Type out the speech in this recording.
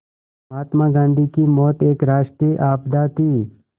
महात्मा गांधी की मौत एक राष्ट्रीय आपदा थी